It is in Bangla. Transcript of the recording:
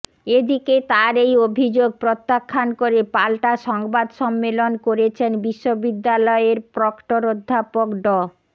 এদিকে তার এই অভিযোগ প্রত্যাখ্যান করে পাল্টা সংবাদ সম্মেলন করেছেন বিশ্ববিদ্যালয়ের প্রক্টর অধ্যাপক ড